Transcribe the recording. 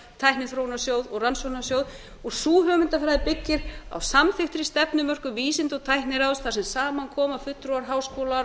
tækniþróunarsjóð og rannsóknarsjóð og sú hugmyndafræði byggist á samþykktri stefnumörkun vísinda og tækniráðs þar sem saman koma fulltrúar háskóla